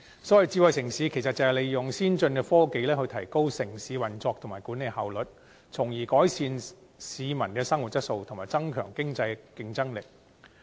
所謂智慧城市是利用先進科技，提高城市運作及管理效率，從而改善市民的生活質素及增強經濟競爭力。